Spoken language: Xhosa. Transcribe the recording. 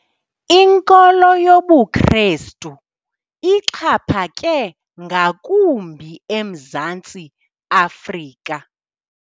Inkolo yobuKrestu ixhaphake ngakumbi eMzantsi Afrika.